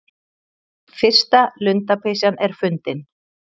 Fyrsta lundapysjan er fundin